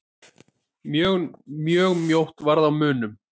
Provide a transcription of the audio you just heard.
Mjög mjótt varð á munum.